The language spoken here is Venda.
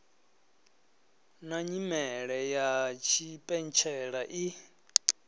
na nyimele ya tshipentshela i